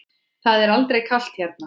Það er aldrei kalt hérna.